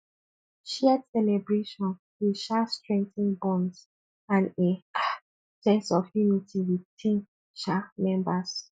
shared celebration dey um strengthen bonds and a um sense of unity with team um members